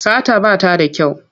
Sata ba ta da kyau.